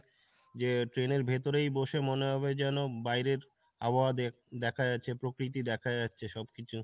যে train এর ভেতরেই বসে মনে হবে যেন বাইরের আবহাওয়া দেখ~ দেখা যাচ্ছে প্রকৃতি দেখা যাচ্ছে সব কিছু